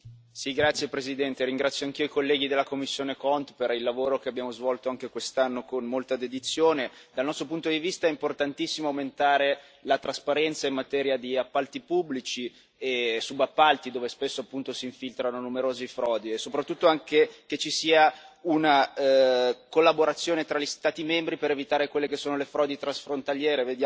Signor Presidente, onorevoli colleghi, ringrazio anch'io i colleghi della commissione CONT per il lavoro che abbiamo svolto anche quest'anno con molta dedizione. Dal nostro punto di vista è importantissimo aumentare la trasparenza in materia di appalti pubblici e subappalti, dove spesso si infiltrano numerose frodi, e anche soprattutto che ci sia una collaborazione tra gli Stati membri per evitare le frodi transfrontaliere.